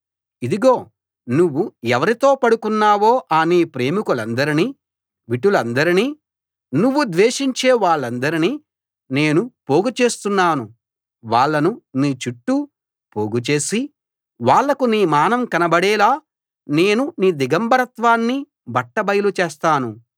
ఇదిగో నువ్వు ఎవరితో పడుకున్నావో ఆ నీ ప్రేమికులందర్నీ విటులందర్నీ నువ్వు ద్వేషించే వాళ్ళందర్నీ నేను పోగుచేస్తున్నాను వాళ్ళను నీ చుట్టూ పోగు చేసి వాళ్లకు నీ మానం కనబడేలా నేను నీ దిగంబరత్వాన్ని బట్ట బయలు చేస్తాను